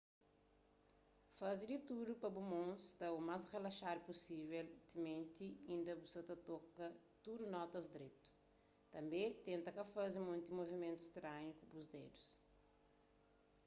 faze di tudu pa bu mon sta u más rilaxadu pusível timenti inda bu sa ta toka tudu notas dretu tanbê tenta ka faze monti muvimentu stranhu ku bu dedus